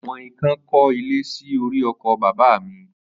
Àwọn ikán kọ́ ilé sí orí oko bàbá mi.